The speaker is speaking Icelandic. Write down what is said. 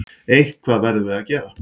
Eitthvað verðum við að gera.